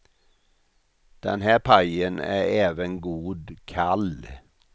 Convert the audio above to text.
Den här pajen är även god kall.